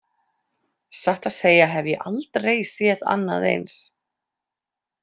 Satt að segja hef ég aldrei séð annað eins.